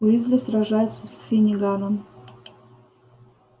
уизли сражается с финниганом